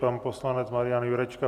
Pan poslanec Marian Jurečka.